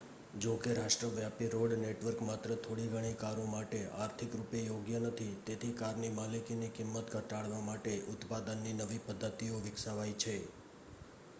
જોકે રાષ્ટ્રવ્યાપી road network માત્ર થોડીઘણી કારો માટે આર્થિક રૂપે યોગ્ય નથી તેથી કારની માલિકીની કિંમત ઘટાડવા માટે ઉત્પાદનની નવી પદ્ધતિઓ વિકસાવાઈ છે